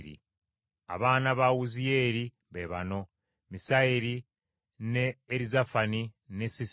Abaana ba Wuziyeeri be bano: Misayeri ne Erizafani ne Sisiri.